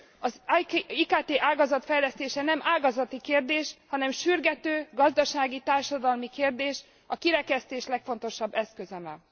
Az IKT ágazat fejlesztése nem ágazati kérdés, hanem sürgető gazdasági, társadalmi kérdés, a kirekesztés legfontosabb eszköze.